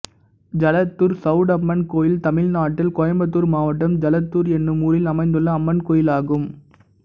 ஜலத்தூர் சௌடம்மன் கோயில் தமிழ்நாட்டில் கோயம்புத்தூர் மாவட்டம் ஜலத்தூர் என்னும் ஊரில் அமைந்துள்ள அம்மன் கோயிலாகும்